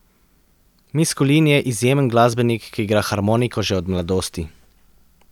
Miskulin je izjemen glasbenik, ki igra harmoniko že od mladosti.